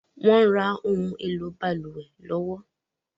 Wọ̀n ń rà ohun èlò balùwẹ̀ lọ́wọ́